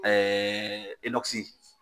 Ɛɛɛ inɔkisi